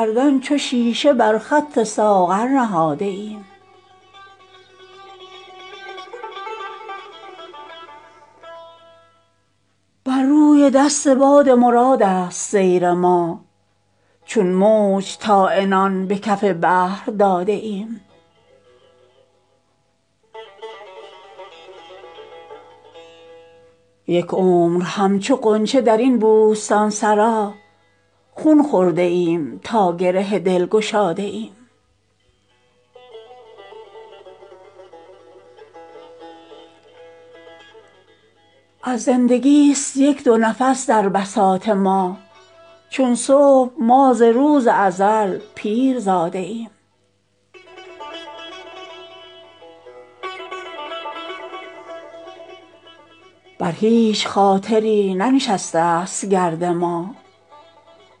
عمری است حلقه در میخانه ایم ما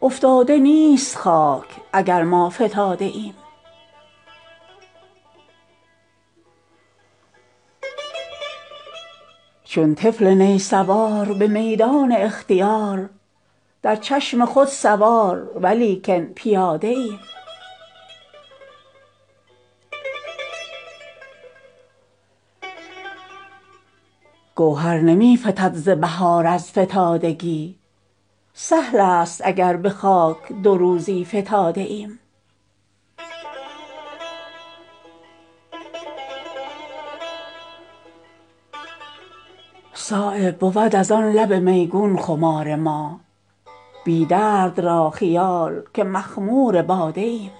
در حلقه تصرف پیمانه ایم ما مقصود ما ز خوردن می نیست بی غمی از تشنگان گریه مستانه ایم ما در چشم ناقصان جهان گرچه نارسیم چون باده جوش سینه میخانه ایم ما عشاق را به تیغ زبان گرم می کنیم چون شمع تازیانه پروانه ایم ما گر از ستاره سوختگان عمارتیم چون جغد خال گوشه ویرانه ایم ما عمری است رفته ایم ازین خاکدان برون بی درد را خیال که در خانه ایم ما چون خواب اگرچه رخت اقامت فکنده ایم تا چشم می زنی به هم افسانه ایم ما از نورسیدگان خرابات نیستیم چون خشت پا شکسته میخانه ایم ما جز جستجوی رزق نداریم هیچ کار چون آسیا به گرد پی دانه ایم ما در مشورت اگرچه گشاد جهان ز ماست سرگشته تر ز سبحه صد دانه ایم ما از ما زبان خامه تکلیف کوته است این شکر چون کنیم که دیوانه ایم ما مهربتان در آب و گل ما سرشته اند صایب خمیر مایه بتخانه ایم ما